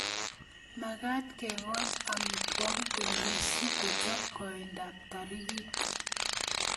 Magat kekoch amitwogik komie si kochop koindo ap taritik